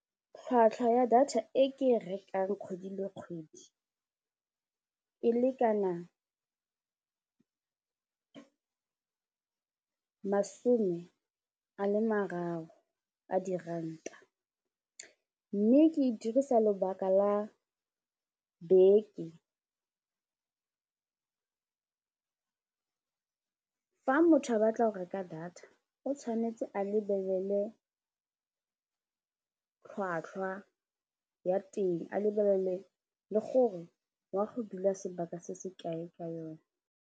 Tlhwatlhwa ya data e ke rekang kgwedi le kgwedi e lekana masome a le mararo a diranta mme ke dirisa lebaka la beke, fa motho a batla go reka data o tshwanetse a lebelele tlhwatlhwa ya teng a lebelele le gore wa go dula sebaka se se kae ka yone.